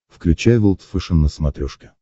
включай волд фэшен на смотрешке